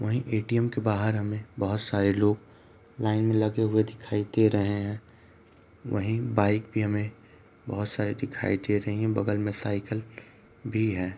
वहीं ऐ.टी.एम. के बाहर हमें बहोत सारे लोग लाइन में लगे हुए दिखाई दे रहें हैं | वहीं बाइक भी हमें बहोत सारे दिखाई दे रहीं हैं | बगल में साइकल भी है ।